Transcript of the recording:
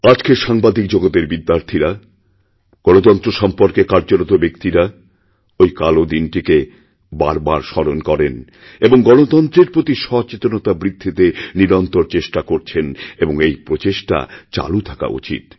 আজকের সাংবাদিক জগতের বিদ্যার্থীরা গণতন্ত্র সম্পর্কে কার্যরত ব্যক্তিরাওই কালো দিনটিকে বারবার স্মরণ করেন এবং গণতন্ত্রের প্রতি সচেতনতা বৃদ্ধিতে নিরন্তরচেষ্টা করছেন এবং এই প্রচেষ্টা চালু থাকা উচিৎ